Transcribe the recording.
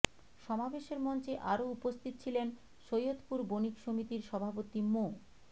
সমাবেশের মঞ্চে আরো উপস্থিত ছিলেন সৈয়দপুর বণিক সমিতির সভাপতি মো